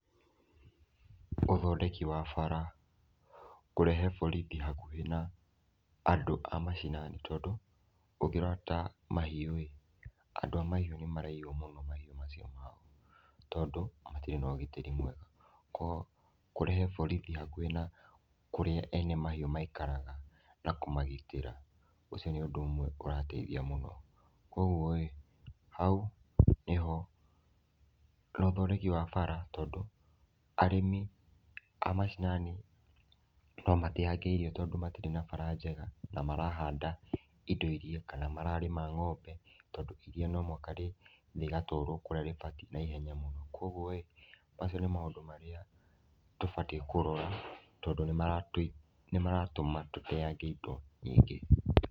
Ũthondeki wa bara, kũrehe borithi hakuhĩ na andũ a mashanani tondũ ũngĩrora ta mahiũĩ andũ a mahiũ nĩmaraiywo mũno mahiũ macio mao, tondũ matirĩ nogitĩri mwega, koguo kũrehe borithi hakuhĩ na kũrĩa ene mahiũ maikaraga na kũmagitĩra ũcio nĩ ũndũ ũmwe ũrateithia mũno, koguoĩ hau nĩho nothondeki wa bara tondũ, arĩmi a mashinani no mateange irio tondũ matirĩ na bara njega na marahanda indo iria kana mararĩma ng’ombe tondũ iria no mũhaka rĩthiĩ rĩgatwaro kũrĩa rĩbatiĩ na ihenya mũno, koguoĩ macio nĩ maũndũ marĩa tũbatiĩ kũrora tondũ nĩmaratũma tũteange indo nyingĩ.